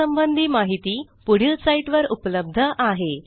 यासंबंधी माहिती पुढील साईटवर उपलब्ध आहे